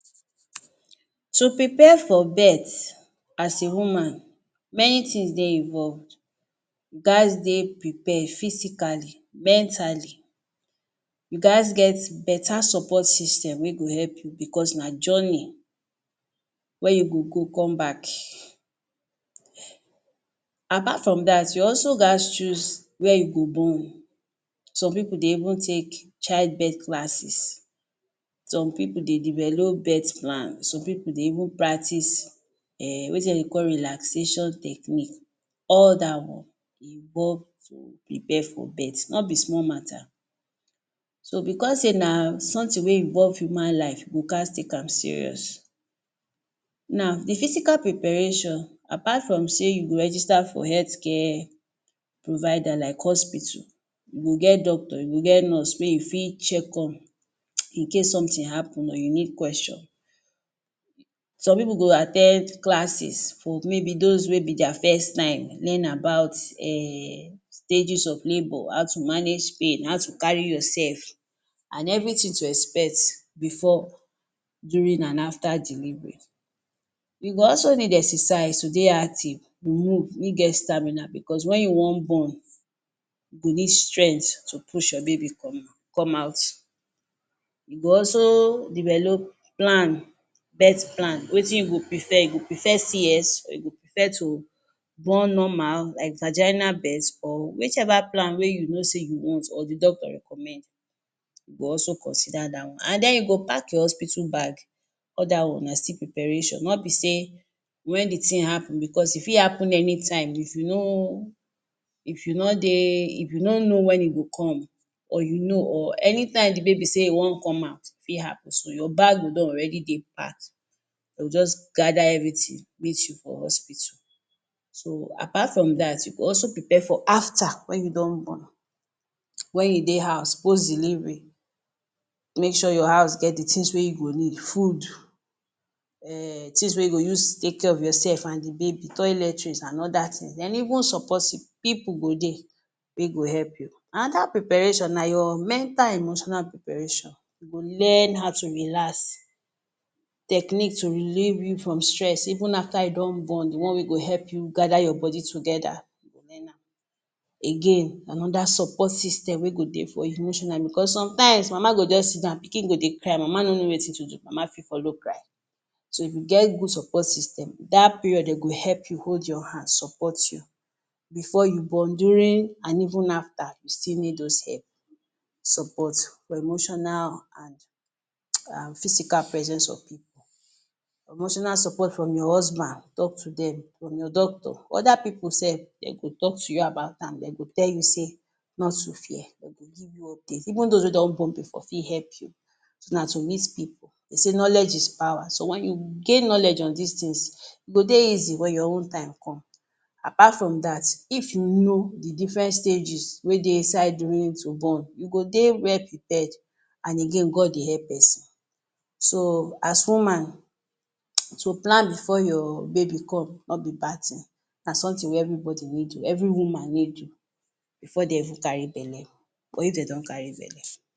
To prepare for birth as a woman, many tins dey involved. You gaz dey prepare physically, mentally, you gaz get beta support system wey go help you becos na journey wey you go go come back. Apart from dat, you also gaz choose where you go born. Some pipu dey even take childbirth classes. Some pipu dey develop birth plan. Some pipu dey even practice um wetin de dey even call relaxation technique. All dat one involve to prepare for birth. No be small matter. So becos sey na something wey involve human life, you go gaz take am serious. Now, the physical preparation, apart from sey you register for health care provider like hospital, you go get doctor, you go get nurse wey you fit check on in case something happen or you need question. Some pipu go at ten d classes for maybe dos wey be dia first time, learn about um stages of labour, how to manage pain, how to carry yoursef, an everything to expect before, during, an after delivery. You go also need exercise to dey active. you get stamina becos wen you wan born, you go need strength to push your baby come out come out. You go also develop plan— birth plan. Wetin you go prefer? You go prefer CS or you go prefer to born normal, like vagina birth or whichever plan wey you know sey you want or the doctor recommend, you go also consider dat one. An then you go pack your hospital bag. All dat one na still preparation. No be sey wen the tin happen, becos e fit happen anytime if you no if you no dey if you no know wen e go come or you know or anytime the baby say e wan come out, e fit happen. So, you bag go don already dey packed. De go juz gather everything meet you for hospital. So, apart from dat, you go also prepare for after wen you don born. Wen you dey house post delivery, make sure your house get the tins wey you go need: food, um tins wey you go use take care of yoursef and the baby, toiletries an other tins. Then even support you. Pipu go dey wey go help you. Another preparation na your mental, emotional preparation. You go learn how to relax, techniques to relieve you from stress even after you don born, the one wey go help you gather your body together, learn am. Again, another support system wey go dey for you emotionally becos sometimes, mama go juz sit down, pikin go dey cry, mama no know wetin to do, mama fit follow cry. So, if you get good support system, dat period, de go help you, hold your hand, support you. Before you born, during, an even after, you still need dos help, support, emotional an [hiss] an physical presence of. Emotional support from your husband. Talk to dem. From your doctor. Other pipu sef, dem go talk you about am, den go tell you say not to fear. De go give you update. Even dos wey don born before fit help you. Na to meet pipu. De say knowledge is power. So, wen you gain knowledge on dis tins, e go dey easy wen your own time come. Apart from dat, if you know the different stages wey dey inside during to born, you go dey well prepared, an again, God dey help peson. So, as woman, [hiss] so plan before your baby come, no be bad tin, na something wey everybody need do, every woman need do before de even carry belle or if de don carry belle.